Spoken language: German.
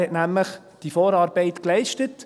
Er hat nämlich die Vorarbeit geleistet.